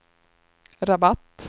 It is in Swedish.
Rabat